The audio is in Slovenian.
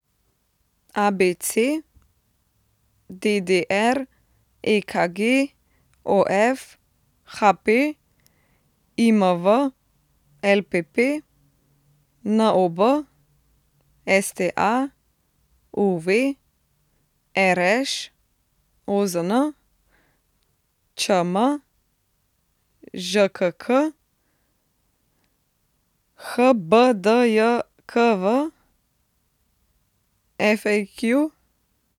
ABC, DDR, EKG, OF, HP, IMV, LPP, NOB, STA, UV, RŠ, OZN, ČM, ŽKK, HBDJKV, FAQ.